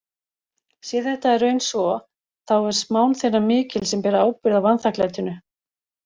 Sé þetta í raun svo þá er smán þeirra mikil sem bera ábyrgð á vanþakklætinu.